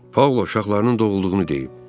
Paula uşaqlarının doğulduğunu deyib.